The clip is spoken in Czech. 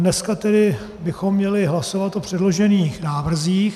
Dneska tedy bychom měli hlasovat o předložených návrzích.